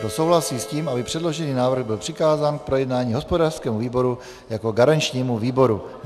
Kdo souhlasí s tím, aby předložený návrh byl přikázán k projednání hospodářskému výboru jako garančnímu výboru?